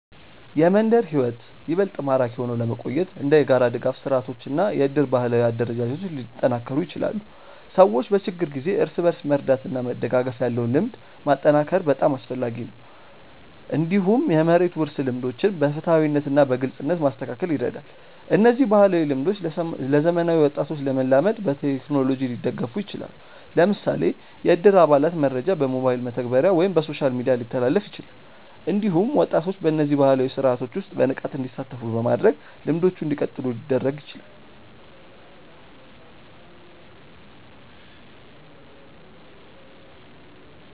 የመንደር ሕይወት ይበልጥ ማራኪ ሆኖ ለመቆየት እንደ የጋራ ድጋፍ ስርዓቶች እና የእድር ባህላዊ አደረጃጀቶች ሊጠናከሩ ይችላሉ። ሰዎች በችግር ጊዜ እርስ በርስ መርዳት እና መደጋገፍ ያለው ልምድ ማጠናከር በጣም አስፈላጊ ነው። እንዲሁም የመሬት ውርስ ልምዶችን በፍትሃዊነት እና በግልጽነት ማስተካከል ይረዳል። እነዚህ ባህላዊ ልምዶች ለዘመናዊ ወጣቶች ለመላመድ በቴክኖሎጂ ሊደገፉ ይችላሉ። ለምሳሌ የእድር አባላት መረጃ በሞባይል መተግበሪያ ወይም በሶሻል ሚዲያ ሊተላለፍ ይችላል። እንዲሁም ወጣቶች በእነዚህ ባህላዊ ስርዓቶች ውስጥ በንቃት እንዲሳተፉ በማድረግ ልምዶቹ እንዲቀጥሉ ሊደረግ ይችላል።